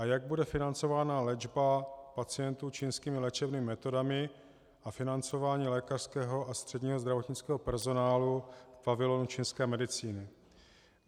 A jak bude financována léčba pacientů čínskými léčebnými metodami a financování lékařského a středního zdravotnického personálu v pavilonu čínské medicíny?